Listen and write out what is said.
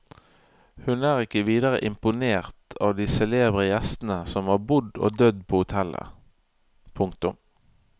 Hun er ikke videre imponert av de celebre gjestene som har bodd og dødd på hotellet. punktum